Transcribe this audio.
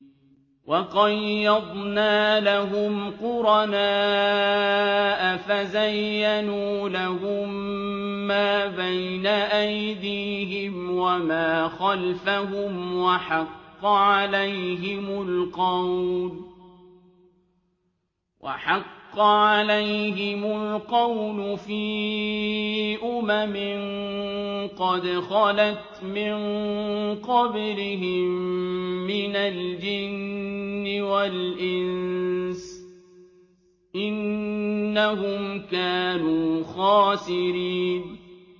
۞ وَقَيَّضْنَا لَهُمْ قُرَنَاءَ فَزَيَّنُوا لَهُم مَّا بَيْنَ أَيْدِيهِمْ وَمَا خَلْفَهُمْ وَحَقَّ عَلَيْهِمُ الْقَوْلُ فِي أُمَمٍ قَدْ خَلَتْ مِن قَبْلِهِم مِّنَ الْجِنِّ وَالْإِنسِ ۖ إِنَّهُمْ كَانُوا خَاسِرِينَ